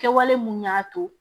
Kɛwale mun y'a to